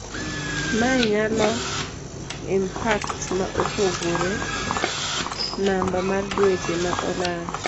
Mae nyalo impact ma opogore namba mar dweche ma olal.